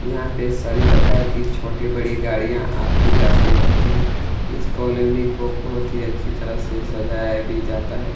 यहाँ पे सभी प्रकार की छोटी बड़ी गाड़ियां आती जाती रहती है इस कॉलोनी को बहुत ही अच्छी तरह से सजाया भी जाता है।